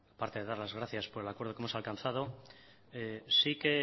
parte de dar las gracias por el acuerdo que hemos alcanzado sí que